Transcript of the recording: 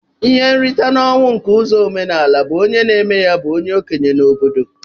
Ihe nrita na ọnwụ nke ụzọ omenala bu onye na eme ya bu onye okenye n'obodo.